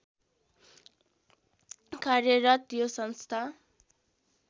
कार्यरत यो संस्था